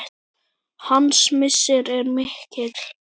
Hans missir er mikill.